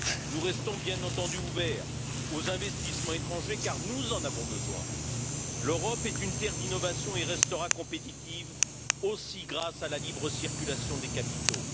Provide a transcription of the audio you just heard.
Nous restons bien entendu ouverts aux investissements étrangers, car nous en avons besoin. L'Europe est une terre d'innovations et restera compétitive, aussi grâce à la libre circulation des capitaux.